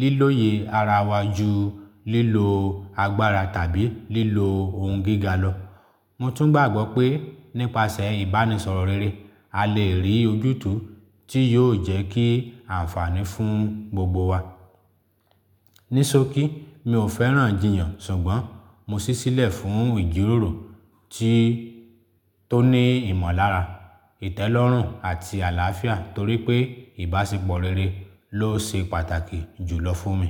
lílòye ara wa ju lílo agbára tàbí lílo ohun gíga lọ. Mo tún gbàgbọ́ pé nípasẹ̀ ìbánisọ̀rọ̀ rere, a lè rí ojútùú tí yóò jẹ́ kí àǹfààní fún gbogbo wa. Ní ṣọ̀kí, mi ò fẹ́ràn jiyàn, ṣùgbọ́n mo ṣísílẹ̀ fún ìjíròrò tí tó ní ìmọ̀lára, ìtẹ́lọ́rùn àti àlàáfíà torí pé ìbáṣepọ̀ rere ló ṣe pàtàkì jùlọ fún mi.